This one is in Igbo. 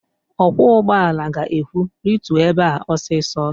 Ọkwọ ụgbọala ga-ekwu, "rituo ebe a ọsịsọ"!